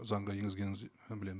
заңға енгізгеніңізді ы білемін